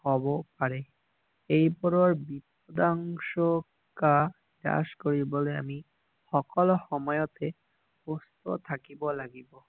হব পাৰে এই বোৰৰ বিধংসতা নাশ কৰিবলে আমি সকলো সময়তে সুস্থ থাকিব লাগিব